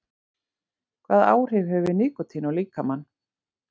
Hvaða áhrif hefur nikótín á líkamann?